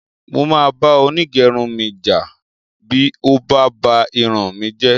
Mo máa bá onígẹrun mi jà bí ó bá ba irun mi jẹ́